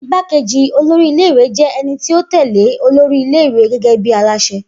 Igbákejì olórí ilé ìwé jẹ́ ẹni tí ó tẹ̀lẹ́ olórí ilé ìwé gẹ́gẹ́ bí aláṣẹ